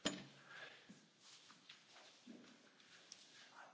Herr Präsident, Herr Kommissar, liebe Kolleginnen und Kollegen!